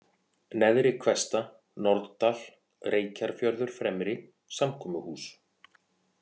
Neðri-Hvesta, Norðdal, Reykjarfjörður Fremri, Samkomuhús